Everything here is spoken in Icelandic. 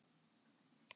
Já, sjá til!